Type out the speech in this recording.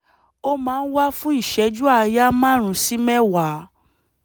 ó máa ń wà fún ìṣẹ́jú àáyá márùn-ún sí mẹ́wàá